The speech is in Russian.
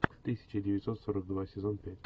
тысяча девятьсот сорок два сезон пять